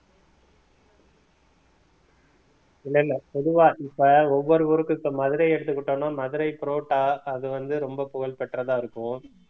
இல்ல இல்ல பொதுவா இப்ப ஒவ்வொரு ஊருக்கும் இப்ப மதுரையை எடுத்துக்கிட்டோம்னா மதுரை புரோட்டா அது வந்து ரொம்ப புகழ் பெற்றதா இருக்கும்